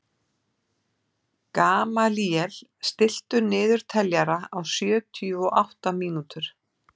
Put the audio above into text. Gamalíel, stilltu niðurteljara á sjötíu og átta mínútur.